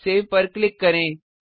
save पर click करें